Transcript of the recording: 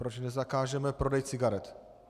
Proč nezakážeme prodej cigaret?